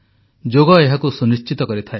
ଯୋଗ ଏହାକୁ ସୁନଶ୍ଚିତ କରିଥାଏ